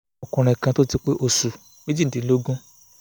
ọkùnrin kan tó ti pé osù méjìdínlógún